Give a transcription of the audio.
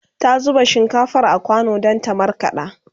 ta zuba shinkafar a kwano Dan ta markaɗa